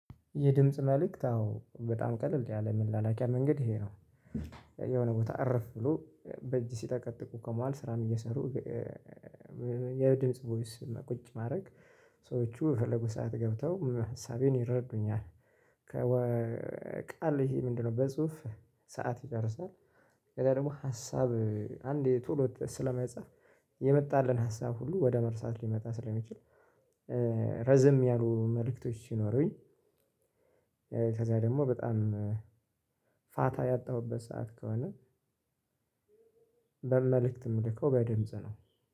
የድምጽ መልእክት አዎ በጣም ቀለል ያለ መላላኪያ መንገድ ይሄ ነው። የሆነ ቦታ እርፍ ብሎ በእጅ ሲጠቀጥቁ ከመዋል ስራን እየሰሩ። የድምጽ ቮይስ ቁጭ ማድረግ። ሰዎቹ የፈለጉ ሰዓት ገብተው ሀሳቤን ይረዱኛል። ከወ ቃል ይሄ ምንድነው? በጽሁፍ ሰዓት ይጨርሳል። ከዛ ደግሞ ሀሳብ አንዴ ቶሎ ስለማይጻፍ የመጣልን ሀሳብ ሁሉ ወደ መርሳት ሊመጣ ስለሚችል። ረዘም ያሉ መልእክቶች ሲኖሩኝ። ከዛ ደግሞ በጣም ፋታ ያጣሁበት ሰዓት ከሆነ። መልእክት የምልከው በድምጽ ነው።